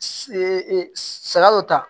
saga dɔ ta